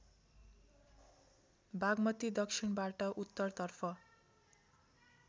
बागमती दक्षिणबाट उत्तरतर्फ